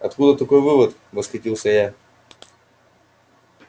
откуда такой вывод восхитился я